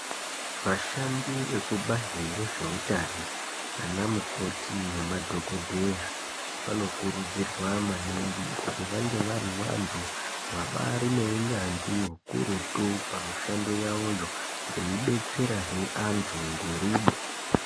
Vashandi vebazi rezveutano ana mukoti nemadhokodheya vanokurudzirwa maningi kuti vange vari vantu vabari neunyanzvi ukurutu pamushando yavoyo veidetsera zve antu ngerudo.